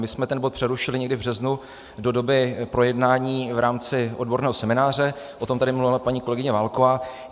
My jsme ten bod přerušili někdy v březnu do doby projednání v rámci odborného semináře, o tom tady mluvila paní kolegyně Válková.